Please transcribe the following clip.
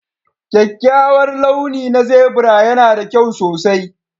Kyakkyawar launi na zebra yana da kyau sosai